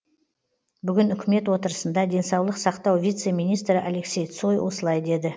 бүгін үкімет отырысында денсаулық сақтау вице министрі алексей цой осылай деді